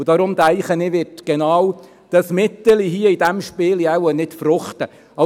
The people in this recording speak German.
Deshalb denke ich, dass genau dieses Mittelchen bei diesem Spiel nicht fruchten wird.